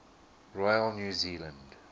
royal new zealand